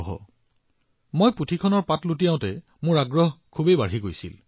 যেতিয়া মই কিতাপখনৰ পৃষ্ঠাবোৰ লুটিয়াবলৈ আৰম্ভ কৰিছিলো মোৰ কৌতূহল বাঢ়ি গৈছিল